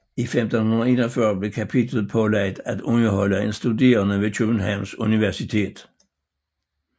I 1541 blev kapitlet pålagt at underholde én studerende ved Københavns Universitet